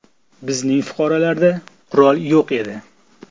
Bizning fuqarolarda qurol yo‘q edi.